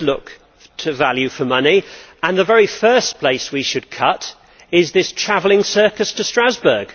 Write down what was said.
We should look to value for money, and the very first place we should cut is this travelling circus to Strasbourg.